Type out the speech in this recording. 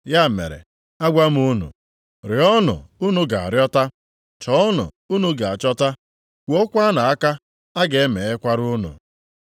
“Ya mere, agwa m unu, rịọọnụ, unu ga-arịọta, chọọnụ, unu ga-achọta, kụọkwanụ aka, a ga-emeghekwara unu ụzọ.